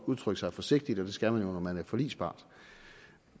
udtrykke sig forsigtigt og det skal man jo når man er forligspart